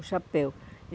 O chapéu.